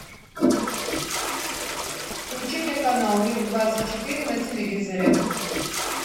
включи мне канал мир двадцать четыре на телевизоре